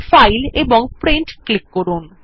file এবং print click করুন